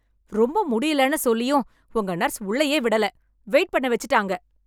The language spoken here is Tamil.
ரொம்ப முடியலன்னு சொல்லியும் உங்க நர்ஸ் உள்ளேயே விடல, வெயிட் பண்ண வெச்சுட்டாங்க